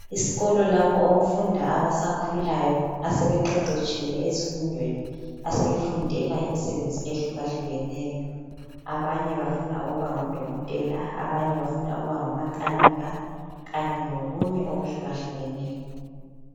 Isikolo lapho okufunda abasakhulayo asebeqeqetshile ezifundweni asebafundela imisebenzi ehlukahlukeneyo. Abanye bafuna ukuba ngodokotela, abanye bafuna ukuba ngomakanika khanye lokunye okuhlukahlukeneyo